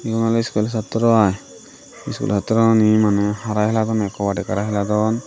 iyun oley iskul satro aai iskul satrouney maney hara heladonne kobadik hara heladon.